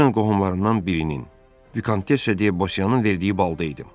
Dünən qohumlarından birinin Vikantesiya deyə Bosyanın verdiyi balda idim.